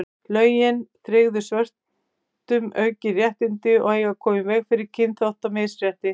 lögin tryggðu svörtum aukin réttindi og eiga að koma í veg fyrir kynþáttamisrétti